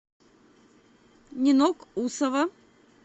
нинок усова